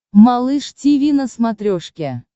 малыш тиви на смотрешке